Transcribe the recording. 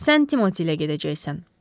Sən Timotiy ilə gedəcəksən.